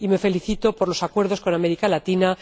Y me felicito por los acuerdos con América Latina